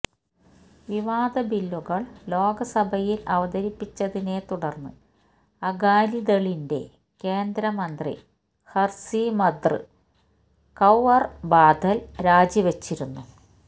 വിവാദ ബില്ലുകൾ ലോക്സഭയിൽ അവതരിപ്പിച്ചതിനെ തുടർന്ന് അകാലി ദളിന്റെ കേന്ദ്ര മന്ത്രി ഹർസിമ്രത് കൌർ ബാദൽ രാജിവെച്ചിരുന്നു